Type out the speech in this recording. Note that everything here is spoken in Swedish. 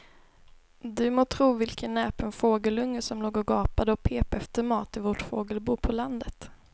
Du må tro vilken näpen fågelunge som låg och gapade och pep efter mat i vårt fågelbo på landet.